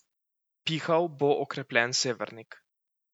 Pihal bo okrepljen severnik.